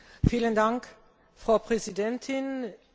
Frau Präsidentin, liebe Kollegen!